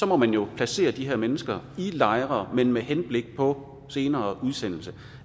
må man jo placere de her mennesker i lejre men med henblik på senere udsendelse